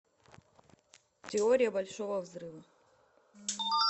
теория большого взрыва